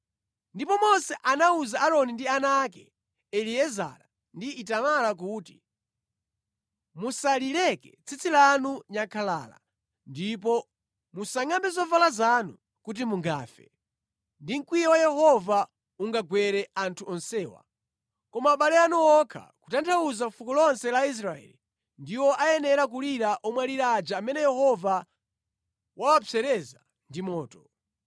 Ndipo Mose anawuza Aaroni ndi ana ake Eliezara ndi Itamara kuti, “Musalileke tsitsi lanu nyankhalala ndipo musangʼambe zovala zanu kuti mungafe, ndi mkwiyo wa Yehova ungagwere anthu onsewa. Koma abale anu okha, kutanthauza fuko lonse la Israeli ndiwo ayenera kulira omwalira aja amene Yehova wawapsereza ndi moto.